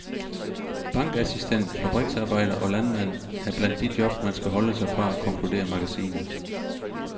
Bankassistent, fabriksarbejder og landmand er blandt de job, man skal holde sig fra, konkluderer magasinet.